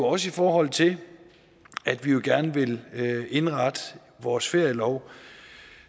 også i forhold til at vi gerne vil indrette vores ferielov